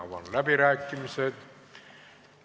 Avan läbirääkimised.